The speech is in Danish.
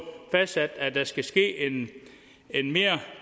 fastsat at der skal ske en mere